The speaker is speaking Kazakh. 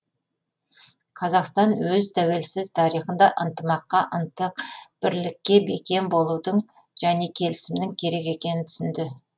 қазақстан өз тәуелсіз тарихында ынтымаққа ынтық бірлікке бекем болудың және келісімнің керек екенін түсінді